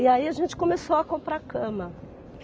E aí a gente começou a comprar cama.